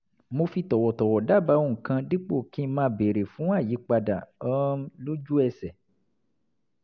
mo fi tọ̀wọ̀tọ̀wọ̀ dábàá ohun kan dípò kí n máa béèrè fún àyípadà um lójú ẹsẹ̀